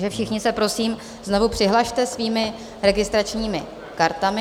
Takže všichni se prosím znovu přihlaste svými registračními kartami.